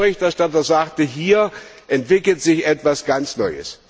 Denn wie der Berichterstatter sagte Hier entwickelt sich etwas ganz Neues.